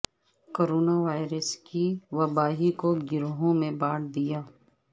corona virus کی وبا ہی کوگروہوں میں بانٹ دیا